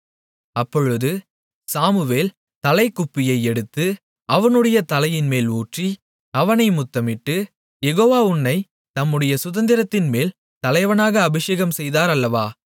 அப்பொழுது சாமுவேல் தைலக்குப்பியை எடுத்து அவனுடைய தலையின்மேல் ஊற்றி அவனை முத்தமிட்டு யெகோவா உன்னைத் தம்முடைய சுதந்தரத்தின்மேல் தலைவனாக அபிஷேகம்செய்தார் அல்லவா